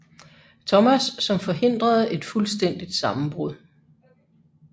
Thomas som forhindrede et fuldstændigt sammenbrud